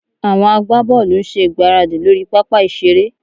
Àwọn agbábọ́ọ̀lù ń ṣe ìgbáradì lórí pápá ìṣeré